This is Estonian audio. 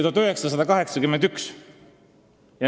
... 1981.